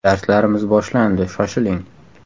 Darslarimiz boshlandi shoshiling!